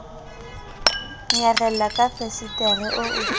nyarela ka fesetere oo ke